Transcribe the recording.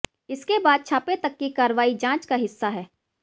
इसके बाद छापे तक की कार्रवाई जांच का हिस्सा है